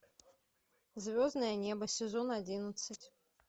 звездное небо сезон одиннадцать